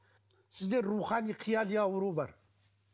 сізде рухани қияли ауру бар